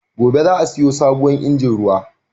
Gobe za'a siyo sabuwar injin ruwa.